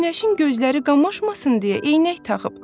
Günəşin gözləri qamaşmasın deyə eynək taxıb.